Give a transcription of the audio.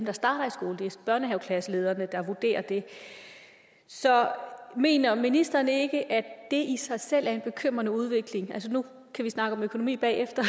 børnehaveklasselederne der vurderer det så mener ministeren ikke at det i sig selv er en bekymrende udvikling nu kan vi snakke om økonomi bagefter